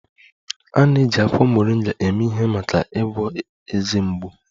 A na-eji akwụkwọ Moringa eme ihe maka ịgwọ ezé mgbu